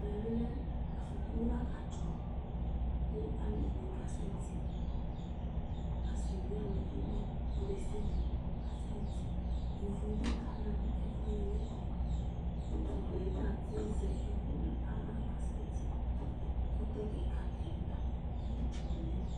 ɛmɛ bi lɛ afɔku la ka dzɔ kò alo ɛdini ka sɛ ti asi bi aluvi bi ɔlo desiade kasɛ ti ivu bi ka na no ɛfuɛdi n'ɛfɛ utu la yɛ ta ati zɛ ɛkò no ala ka sɛ ti ɛkutɛ keka ni ma no udu n'ɛfɛ